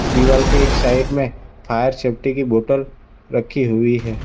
दीवाल के एक साइड में फायर सेफ्टी की बोटल रखी हुई है।